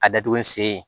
A datugu ni sen ye